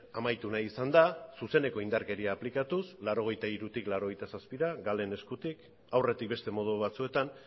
amaitu nahi izan da zuzeneko indarkeria aplikatuz mila bederatziehun eta laurogeita hirutik mila bederatziehun eta laurogeita zazpira galen eskutik aurretik beste modu batzuetan